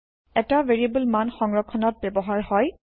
এটা ভেৰিয়েব্ল মান সংৰক্ষণত ব্যৱহাৰ হয়